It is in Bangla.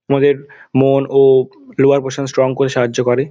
আমাদের মন ও লোয়ার পোরশন স্ট্রং করে সাহায্য করে।